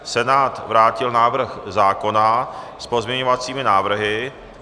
Senát vrátil návrh zákona s pozměňovací návrhy.